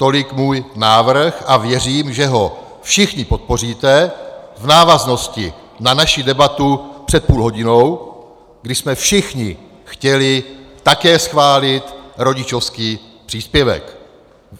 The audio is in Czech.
Tolik můj návrh a věřím, že ho všichni podpoříte v návaznosti na naši debatu před půl hodinou, kdy jsme všichni chtěli také schválit rodičovský příspěvek.